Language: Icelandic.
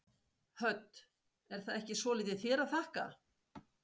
Hödd: Er það ekki svolítið þér að þakka?